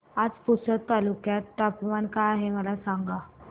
आज पुसद तालुक्यात तापमान काय आहे मला सांगा